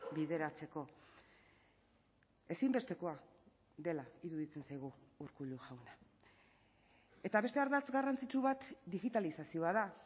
bideratzeko ezinbestekoa dela iruditzen zaigu urkullu jauna eta beste ardatz garrantzitsu bat digitalizazioa da